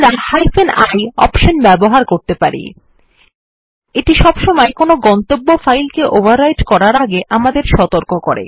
আমরা i option ব্যবহার করতে পারি এইটি সবসময় কোনো গন্তব্য ফাইল কে ওভাররাইটিং করার আগে আমাদের সতর্ক করে